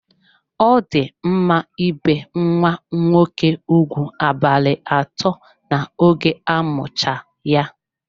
Ọ di mma ibe nwa nwoke ụgwụ abalị atọ n'oge amucha ya.